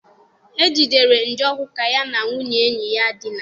E jidere Njoku ka ya na nwunye enyi ya dina.